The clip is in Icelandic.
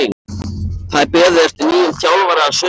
Það er beðið eftir nýjum þjálfara að sunnan.